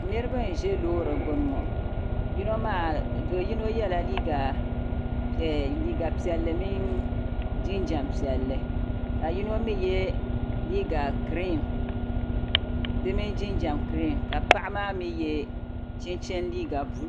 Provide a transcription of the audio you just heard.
Niriba n-ʒe loori gbuni ŋɔ yino maa do yino yɛla liiga piɛlli mini jinjampiɛlli ka yino mi ye liiga giriin di mini jinjam giriin ka Paɣa maa mi ye chinchini liiga buluu